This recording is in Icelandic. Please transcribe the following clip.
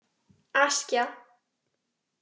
Askja